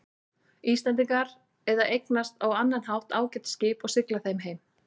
Íslendingar eða eignast á annan hátt ágæt skip og sigla þeim heim.